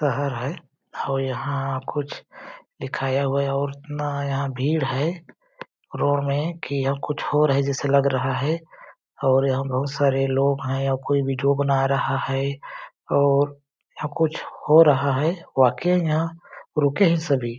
शहर है और यहाँ कुछ दिखाया हुआ है और इतना यहाँ भीड़ है रोड में कि यहाँ कुछ हो रहा है जैसे लग रहा है और यहाँ बहुत सारे लोग हैं या कोई वीडियो बना रहा है और यहाँ कुछ हो रहा है वाकई यहाँ रुके हैं सभी --